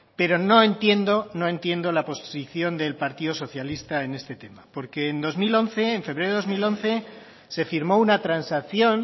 pero no entiendo no entiendo la posición del partido socialista en este tema porque en dos mil once en febrero del dos mil once se firmó una transacción